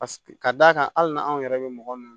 ka d'a kan hali n'anw yɛrɛ bɛ mɔgɔ min